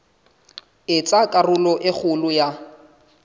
etsa karolo e kgolo ya